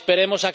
esperemos